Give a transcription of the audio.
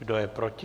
Kdo je proti?